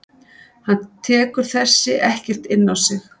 Hann tekur þessi ekkert inn á sig.